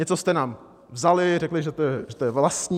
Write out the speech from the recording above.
Něco jste nám vzali, řekli, že to je vlastní.